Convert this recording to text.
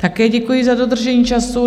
Také děkuji za dodržení času.